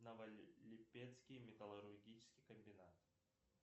новолипецкий металлургический комбинат